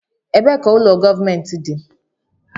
Ebee ka ụlọ gọọmentị dị?